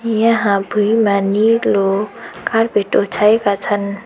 यहाँ भुइँमा नीलो कार्पेट ओछाएका छन्।